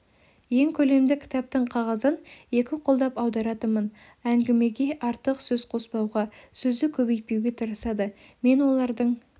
ең көлемді кітаптың қағазын екі қолдап аударатынмын әңгімеге артық сөз қоспауға сөзді көбейтпеуге тырысады мен олардың